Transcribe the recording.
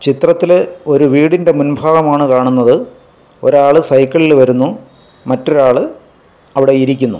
ചിത്രത്തിൽ ഒരു വീടിൻ്റെ മുൻഭാഗം ആണ് കാണുന്നത് ഒരാൾ സൈക്കിളിൽ വരുന്നു മറ്റൊരാൾ അവിടെ ഇരിക്കുന്നു.